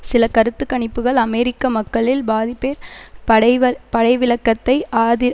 சில கருத்துக்ணிப்புக்கள் அமெரிக்க மக்களில் பாதிப்பேர் படைவ படைவிலக்கத்தை ஆதி